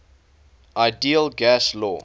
ideal gas law